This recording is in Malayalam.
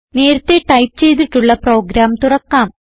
നേരത്തെ ടൈപ്പ് ചെയ്തിട്ടുള്ള പ്രോഗ്രാം തുറക്കാം